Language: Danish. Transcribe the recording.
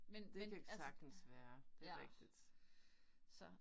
Men men altså, ja. Så